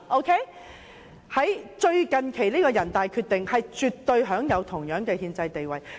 最近期人大常委會的決定絕對享有同樣的憲制地位。